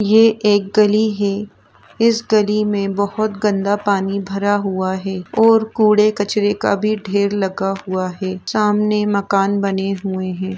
ये एक गली है। इस गली मे बहुत गंदा पानी भरा हुआ है और कूड़े कचड़े का भी ढेर लगा हुआ है। सामने मकान बने हुए हैं।